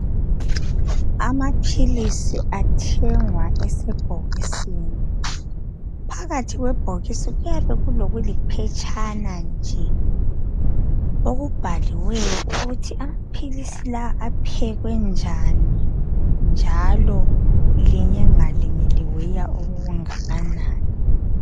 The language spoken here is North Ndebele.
Amaphilisi athengwa esebhokisini phakathi kwebhokisi kuyabe kulokuliphetshana nje okubhaliwe ukuthi amaphilisi lawa aphekwe njani njalo linye ngalinye liweya okungakanani.